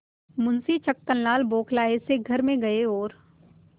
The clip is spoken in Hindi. मुंशी छक्कनलाल बौखलाये से घर में गये और